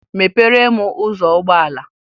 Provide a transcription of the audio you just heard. Mepere m ụzọ ụgbọala!